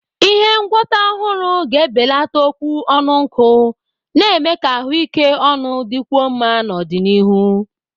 Ihe ngwọta ọhụrụ ga-ebelata okwu ọnụ nkụ, na-eme ka ahụike ọnụ dịkwuo mma n'ọdịnihu.